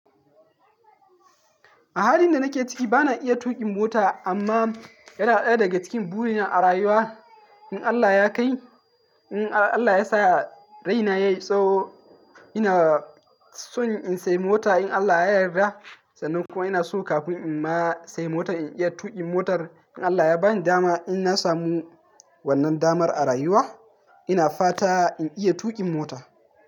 A halin da nake ciki, bana iya tuƙin mota amma yana ɗaya daga cikin burina a rayuwa. In Allah ya kai, in Allah ya sa raina yayi tsawo, ina so in sayi mota in Allah ya yarda. Sannan kuma ina so kafin in ma sayi mota in iya tuƙin motar. In Allah ya bani dama, inna samu wannan damar a rayuwa ina fata in iya tuƙin mota.